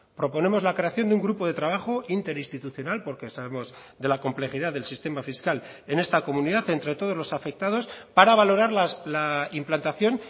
proponemos la creación de un grupo de trabajo interinstitucional porque sabemos de la complejidad del sistema fiscal en esta comunidad entre todos los afectados para valorar la implantación